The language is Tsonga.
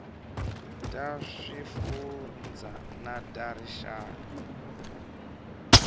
ta swifundzha na ta rixaka